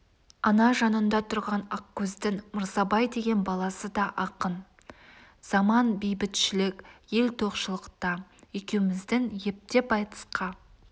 ана жаныңда тұрған ақкөздің мырзабай деген баласы да ақын заман бейбітшілік ел тоқшылықта екеуміздің ептеп айтысқа